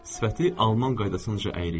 Sifəti alman qaydasınca əyri idi.